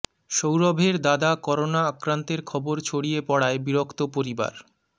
সৌরভের দাদা করোনা আক্রান্তের খবর ছড়িয়ে পড়ায় বিরক্ত পরিবার